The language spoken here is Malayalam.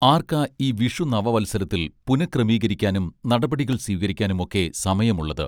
ആർക്കാ ഈ വിഷു നവവത്സരത്തിൽ പുനഃക്രമീകരിക്കാനും നടപടികൾ സ്വീകരിക്കാനും ഒക്കെ സമയം ഉള്ളത്